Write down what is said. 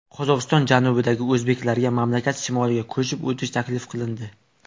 Qozog‘iston janubidagi o‘zbeklarga mamlakat shimoliga ko‘chib o‘tish taklif qilindi.